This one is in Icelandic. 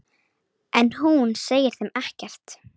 En hún segir þeim ekkert.